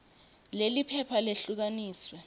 leli phepha lehlukaniswe